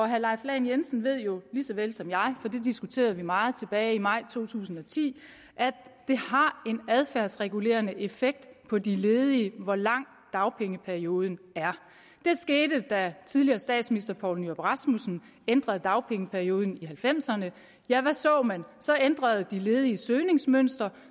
herre leif lahn jensen ved jo lige så vel som jeg for det diskuterede vi meget tilbage i maj to tusind og ti at det har en adfærdsregulerende effekt på de ledige hvor lang dagpengeperioden er det skete da tidligere statsminister poul nyrup rasmussen ændrede dagpengeperioden i nitten halvfemserne ja hvad så man så ændrede de ledige søgningsmønster